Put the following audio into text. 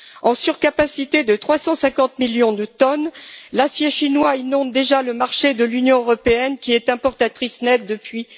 En surcapacité de 350 millions de tonnes, l'acier chinois inonde déjà le marché de l'Union européenne, qui est importatrice nette depuis